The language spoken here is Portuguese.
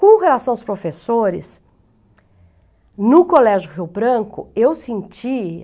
Com relação aos professores, no Colégio Rio Branco, eu sentia...